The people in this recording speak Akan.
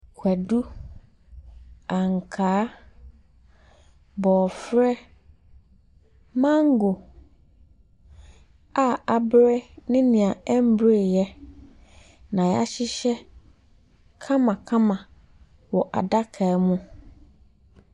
Kwadu, ankaa, bɔɔfrɛ mango a abre ne nea ɛmbreeyɛ na yahyehyɛ kamakama wɔ adaka mu.